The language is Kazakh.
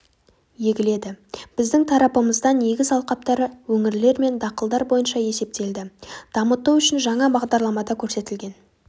егіледі біздің тарапымыздан егіс алқаптары өңірлер мен дақылдар бойынша есептелді дамыту үшін жаңа бағдарламада көрсетілген